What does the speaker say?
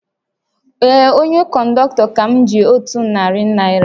Ee, onye kọndọktọ ka ji m otu narị naira